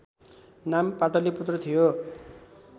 नाम पाटलीपुत्र थियो